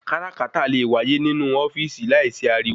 Káràkátà le wáyé ni inú ofíìsì láì sí ariwo